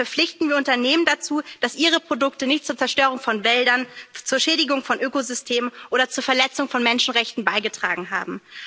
Damit verpflichten wir Unternehmen dazu, dass ihre Produkte nicht zur Zerstörung von Wäldern, zur Schädigung von Ökosystemen oder zur Verletzung von Menschenrechten beigetragen haben.